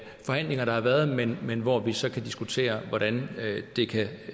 forhandlinger der har været men men hvor vi så kan diskutere hvordan det kan